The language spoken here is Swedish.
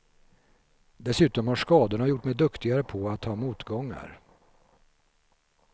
Dessutom har skadorna gjort mig duktigare på att ta motgångar.